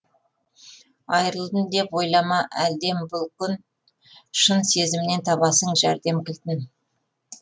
айрылдым деп ойлама әлден бұл күн шын сезімнен табасың жәрдем кілтін